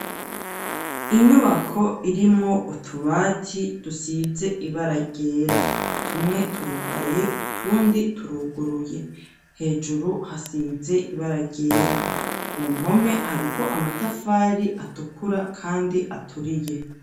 Inyubako irimwo utubati dusize ibara ryera, tumwe turugaye utundi turuguruye ,hejuru hasize ibara ryera ku mpome hariko amatafari atukura kandi aturiye.